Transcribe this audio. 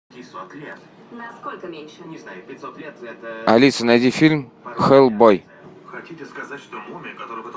алиса найди фильм хеллбой